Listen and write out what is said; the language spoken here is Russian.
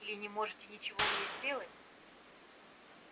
или не можете ничего мне сделать